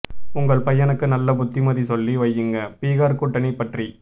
உங்க பையனுக்கு நல்ல புத்திமதி சொல்லி வையுங்க பீகார் கூட்டணி பற்றி